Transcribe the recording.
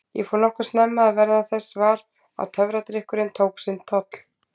Ég fór nokkuð snemma að verða þess var að töfradrykkurinn tók sinn toll.